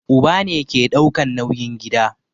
Uba ne ke daukan nauyin gida